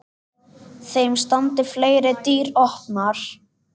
Þeim standi fleiri dyr opnar.